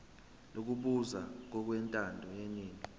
lokubusa ngokwentando yeningi